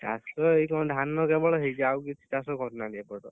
ଚାଷ ଏଇ କଣ ଧାନ କେବଳ ହେଇଛି ଆଉ କିଛି ଚାଷ କରିନାହାନ୍ତି ଏପଟ,